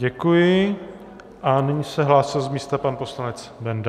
Děkuji a nyní se hlásil z místa pan poslanec Benda.